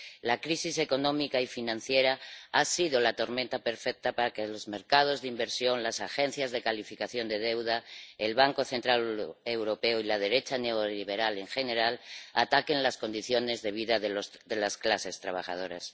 La crisis económica y financiera ha sido la tormenta perfecta para que los mercados de inversión, las agencias de calificación de deuda, el Banco Central Europeo y la derecha neoliberal en general ataquen las condiciones de vida de las clases trabajadoras.